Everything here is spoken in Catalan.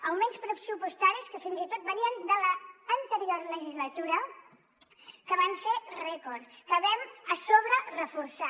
augments pressupostaris que fins i tot venien de l’anterior legislatura que van ser rècord que vam a sobre reforçar